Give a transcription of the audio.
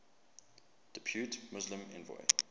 depute muslim envoy